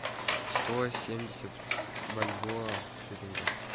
сто семьдесят бальбоа в шиллингах